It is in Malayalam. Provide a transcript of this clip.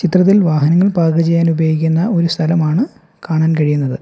ചിത്രത്തിൽ വാഹനങ്ങൾ പാർക്ക് ചെയ്യാനുപയോഗിക്കുന്ന ഒരു സ്ഥലമാണ് കാണാൻ കഴിയുന്നത്.